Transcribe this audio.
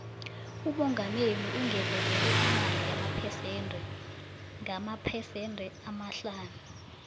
umongameli ungezelele imali yomndende ngamaphesende amahlanu